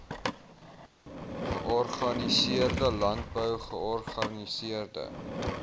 georganiseerde landbou georganiseerde